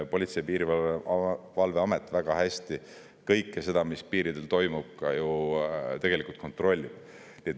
Politsei‑ ja Piirivalveamet väga hästi kõike seda, mis piiridel toimub, ju tegelikult kontrollib.